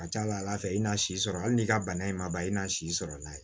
A ka ca ala fɛ i n'a si sɔrɔ hali n'i ka bana ye ma ban i na si sɔrɔ n'a ye